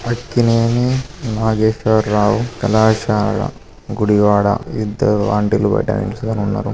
అక్కినేని నాగేశ్వర్ రావు కళాశాల గుడివాడ ఇద్దరు ఆంటీ లు బయట నిల్చొని ఉన్నారు.